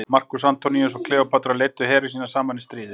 markús antoníus og kleópatra leiddu heri sína saman í stríðið